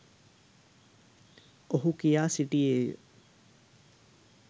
ඔහු කියා සිටියේය.